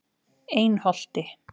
Einholti